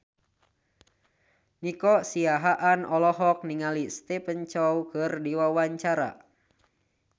Nico Siahaan olohok ningali Stephen Chow keur diwawancara